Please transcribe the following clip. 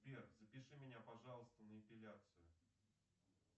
сбер запиши меня пожалуйста на эпиляцию